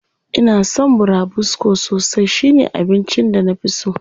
Ina son burabusko sosai, shi ne abincin da na fi so.